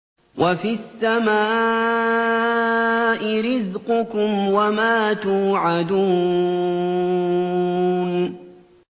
وَفِي السَّمَاءِ رِزْقُكُمْ وَمَا تُوعَدُونَ